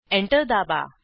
enter दाबा